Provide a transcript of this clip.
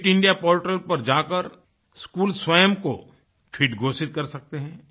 fit India portal पर जाकर school स्वयं को फिट घोषित कर सकते हैं